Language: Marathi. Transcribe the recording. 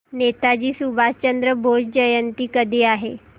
नेताजी सुभाषचंद्र बोस जयंती कधी आहे